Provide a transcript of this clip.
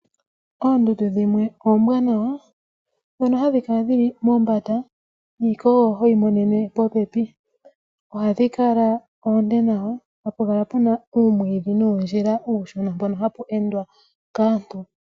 Oondundu dhimwe oombwanawa, ndhono ha dhi kala dhi li mombanda, niikogo ho yi monene, popepi. Oha dhi kala oonde nawa, ha pu kala puna uumwiidhi, nuundjila uushona mpono ha pu endwa kaantu